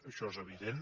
això és evident